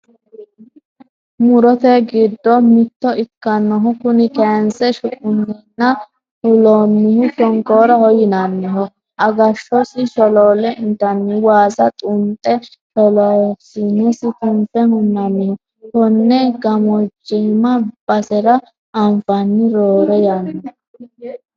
Murote gidddo mitto ikkinohu kuni kayinse shuqunenna fulanohu shonkoraho yinaniho agashosi sholole intanni waasi xunxe sholasinesi tunfe hunaniho kone gamojame basera anfani roore yanna.